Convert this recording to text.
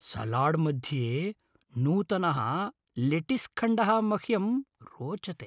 सलाड्मध्ये नूतनः लेटीस्खण्डः मह्यं रोचते।